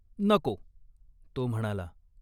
"नको !" तो म्हणाला.